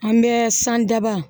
An bɛ san daba